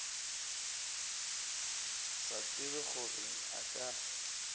sa tsebe gore a ka